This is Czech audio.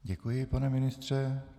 Děkuji, pane ministře.